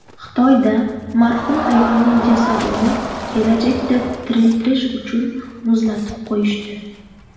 Xitoyda marhum ayolning jasadini kelajakda tiriltirish uchun muzlatib qo‘yishdi.